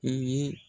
I ye